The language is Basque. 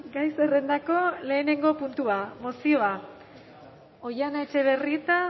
gai zerrendako lehenengo puntua mozioa oihana etxebarrieta